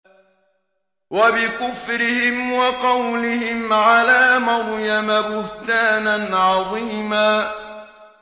وَبِكُفْرِهِمْ وَقَوْلِهِمْ عَلَىٰ مَرْيَمَ بُهْتَانًا عَظِيمًا